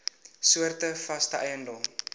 soorte vaste eiendom